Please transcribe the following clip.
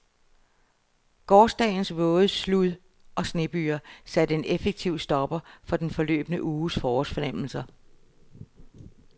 Gårsdagens våde slud- og snebyger satte en effektiv stopper for den forløbne uges forårsfornemmelser.